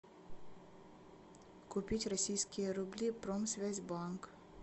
купить российские рубли промсвязьбанк